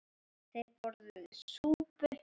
Þeir borðuðu súpu.